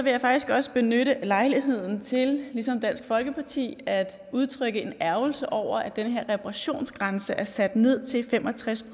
jeg faktisk også benytte lejligheden til ligesom dansk folkeparti at udtrykke en ærgrelse over at den her reparationsgrænse er sat ned til fem og tres